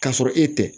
K'a sɔrɔ e tɛ